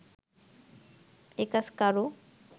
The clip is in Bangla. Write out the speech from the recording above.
এ কাজ কারও